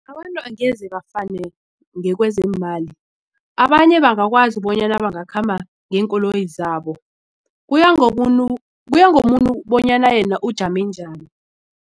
Abantu angeze bafane ngekwezeemali abanye bangakwazi bonyana bangakhamba ngeenkoloyi zabo kuya ngomuntu bonyana yena ujame njani.